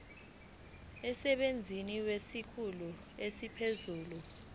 emsebenzini kwesikhulu esiphezulu